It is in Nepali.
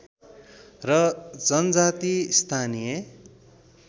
र जनजाति स्थानीय